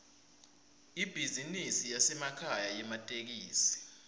ibhizinisi yasekhaya yematekisi